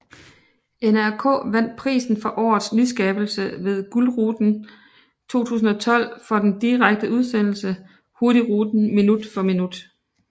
NRK vandt prisen for årets nyskabelse ved Gullruten 2012 for den direkte udsendelse Hurtigruten minutt for minutt